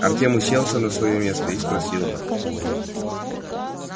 артем уселся на своё место и спросил